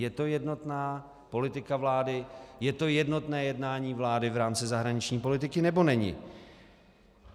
Je to jednotná politika vlády, je to jednotné jednání vlády v rámci zahraniční politiky, nebo není?